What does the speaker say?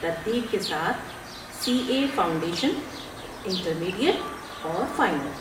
ترتیب کے ساتھ سی اے فاؤنڈیشن، انٹرمیڈیٹ اور فائنل۔